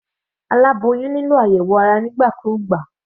Aláboyún nílò àyẹ̀wò ara nígbà kúgbà.